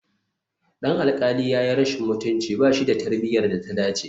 Dan alƙali ya yi rashin mutunci, ba shi da tarbiyyar da ta dace